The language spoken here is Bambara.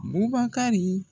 Bubakari